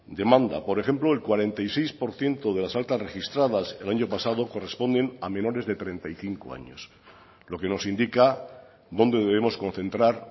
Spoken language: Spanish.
demanda por ejemplo el cuarenta y seis por ciento de las altas registradas el año pasado corresponden a menores de treinta y cinco años lo que nos indica dónde debemos concentrar